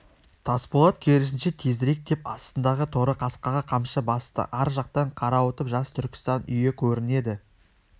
тасболат керісінше тезірек деп астындағы торы қасқаға қамшы басты ар жақтан қарауытып жас түркістан үйі көрінеді